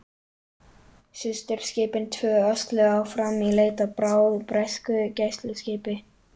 Systurskipin tvö ösluðu áfram í leit að bráð, bresku gæsluskipi.